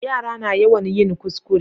Yara na yawan yin kuskure